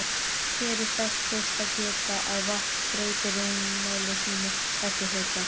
Hér er þess fyrst að geta að vatn breytir rúmmáli sínu eftir hita.